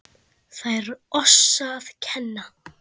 Lær oss að kenna